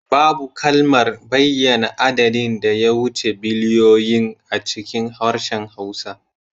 Babu kalmar bayyana adadin da ya wuce biliyoyin a cikin harshen Hausa